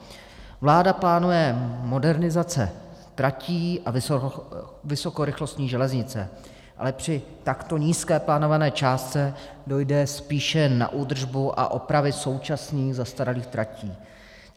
Vláda plánuje modernizace tratí a vysokorychlostní železnice, ale při takto nízké plánované částce dojde spíše na údržbu a opravy současných zastaralých tratí.